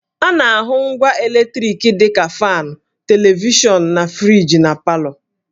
A na-ahụ ngwa eletriki dị ka faanụ, televishọnụ, na friji na palọ